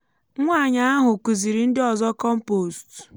nwanyi ahụ kuziri ndi ọzọ kọmpost